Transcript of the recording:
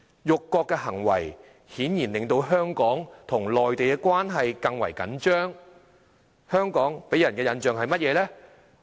辱國行為顯然令到香港與內地的關係更為緊張，香港給人的印象是甚麼？